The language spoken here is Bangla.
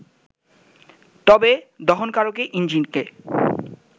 তবে দহনকারক ইঞ্জিনকে